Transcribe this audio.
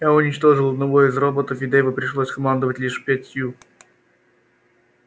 я уничтожил одного из роботов и дейву пришлось командовать лишь пятью